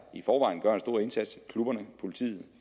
i forvejen gør en stor indsats i klubberne i politiet i